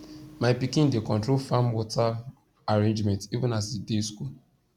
my pikin dey control farm water arrangement even as e dey school